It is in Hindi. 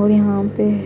और यहां पे --